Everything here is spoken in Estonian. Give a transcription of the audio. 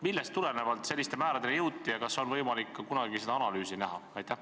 Millest tulenevalt selliste määradeni jõuti ja kas on võimalik kunagi seda analüüsi ka näha?